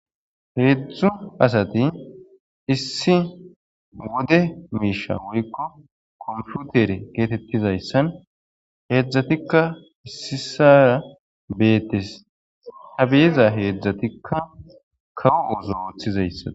Heedzdzu asati issi wode miisha woykko komfutere geetettizayssan heedzdzatikka issi sara beetes habeyeza heedzdzatikka kawo woso ooththizayssan.